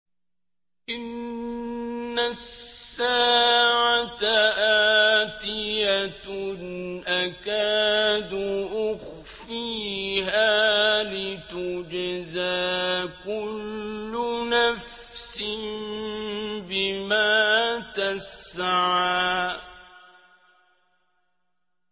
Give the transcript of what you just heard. إِنَّ السَّاعَةَ آتِيَةٌ أَكَادُ أُخْفِيهَا لِتُجْزَىٰ كُلُّ نَفْسٍ بِمَا تَسْعَىٰ